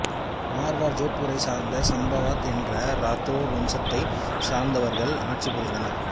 மார்வார் ஜோத்பூரைச் சார்ந்த சம்பாவத் என்ற ராதோர் வம்சத்தைச் சார்ந்தவர்கள் ஆட்சி புரிந்தனர்